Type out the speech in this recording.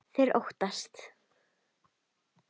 Þeir óttast.